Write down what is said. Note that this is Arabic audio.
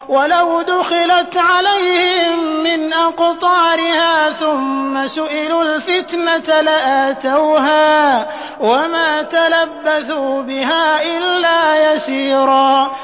وَلَوْ دُخِلَتْ عَلَيْهِم مِّنْ أَقْطَارِهَا ثُمَّ سُئِلُوا الْفِتْنَةَ لَآتَوْهَا وَمَا تَلَبَّثُوا بِهَا إِلَّا يَسِيرًا